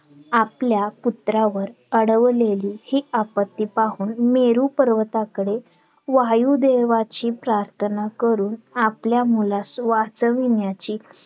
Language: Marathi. आपल्या पुत्रावर अडवलेली हि आपत्ती पाहून मेरू पर्वताकडे वायुदेवाची प्रार्थना करून आपल्या मुलास वाचविण्याची